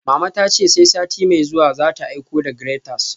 Mama ta ce sai sati mai zuwa za ta aiko da graters